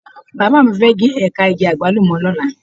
Bàbá mi fẹ́ gé ẹ̀ka igi Àgbálùmọ̀ lọ́la.